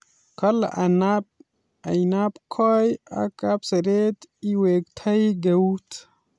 Kale ainabkoi ak kapseret iwektoi keut